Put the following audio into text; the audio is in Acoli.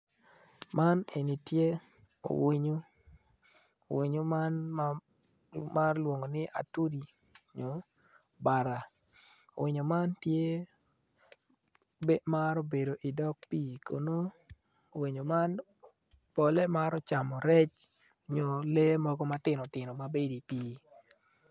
Man en tye owinyo winyo man ma maro lwongo ni atudi winyo man tye naro bedo idog pii kun nongo winyo man pole maro camo rec nyo lee mogo matino tino ma bedi i pii